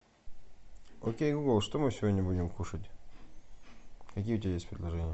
окей гугл что мы сегодня будем кушать какие у тебя есть предложения